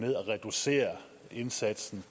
reducere indsatsen